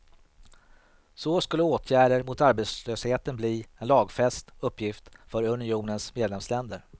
Så skulle åtgärder mot arbetslösheten bli en lagfäst uppgift för unionens medlemsländer.